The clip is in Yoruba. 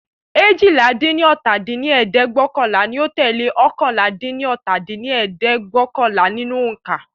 eéjìlá-dín-ní-ọ́ta dín ní ẹ̀ẹ́dẹ́gbẹ́ọ̀kànlá ni ó tẹ́lẹ̀ oókànlá-dín-ní-ọ́ta dín ní ẹ̀ẹ́dẹ́gbẹ́ọ̀kànlá nínú ońká.